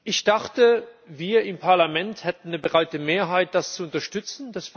Ich dachte, wir im Parlament hätten eine breite Mehrheit, das zu unterstützen.